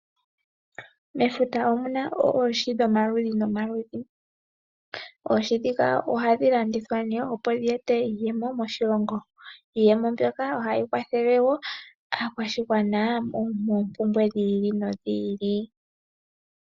Mefuta omuna oohi dhomaludhi nomaludhi, oohi ndhika ohadhi landithwa opo dhi ete iiyemo moshilongo. Iiyemo mbyoka ohayi kwathele aakwashigwana moompumbwe dhi ili nodhi ili.